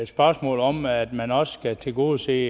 spørgsmålet om at man også skal tilgodese